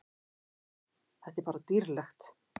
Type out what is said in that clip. Þetta er bara dýrlegt.